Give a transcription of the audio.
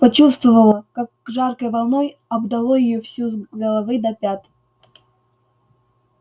почувствовала как жаркой волной обдало её всю с головы до пят